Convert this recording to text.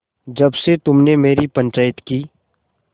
जब से तुमने मेरी पंचायत की